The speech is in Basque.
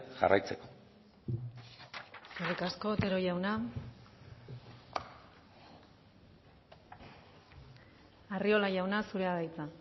jarraitzeko eskerrik asko otero jauna arriola jauna zurea da hitza